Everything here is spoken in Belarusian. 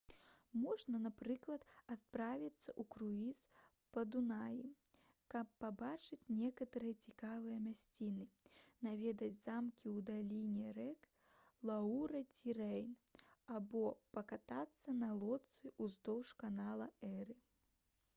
можна напрыклад адправіцца ў круіз па дунаі каб пабачыць некаторыя цікавыя мясціны наведаць замкі ў даліне рэк луара ці рэйн або пакатацца на лодцы ўздоўж канала эры